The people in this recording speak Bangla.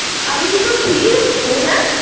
আমি কি তোর খিল্লির বস্তু? হ্যাঁ?